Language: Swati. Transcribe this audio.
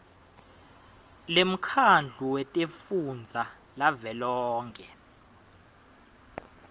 lemkhandlu wetifundza lavelonkhe